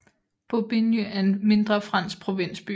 Bobigny er en mindre fransk provinsby